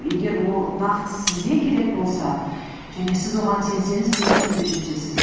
егер ол нақты сізге керек болса және сіз оған сенсеңіз міндетті түрде жетесіз